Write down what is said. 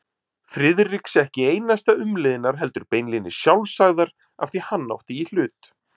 Friðriks ekki einasta umliðnar heldur beinlínis sjálfsagðar afþví hann átti í hlut.